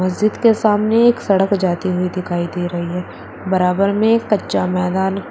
मस्जिद के सामने एक सड़क जाती हुई दिखाई दे रही है बराबर में कच्चा मैदान--